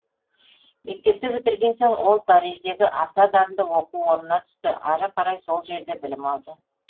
мектепті бітірген соң ол париждегі аса дарынды оқу орнына түсті ары қарай сол жерде білім алды